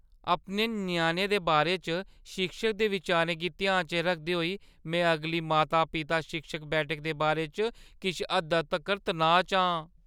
अपने ञ्याणे दे बारे च शिक्षक दे बिचारें गी ध्यान च रखदे होई में अगली माता-पिता-शिक्षक बैठक दे बारे च किश हद्दा तगर तनाऽ च आं।